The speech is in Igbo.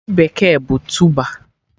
Ji bekee bụ tụba